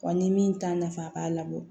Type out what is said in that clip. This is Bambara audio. Wa ni min t'a nafa a b'a labɔ